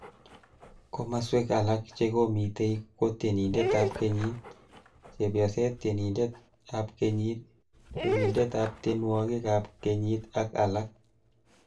Komaswek alak chekomitei ko tienindetab kenyit, chepyoset tienindetab kenyit chopindetab tienwogikab kenyit ak alak